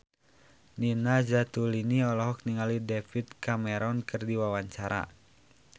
Nina Zatulini olohok ningali David Cameron keur diwawancara